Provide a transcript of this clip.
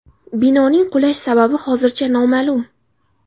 Binoning qulash sababi hozircha noma’lum.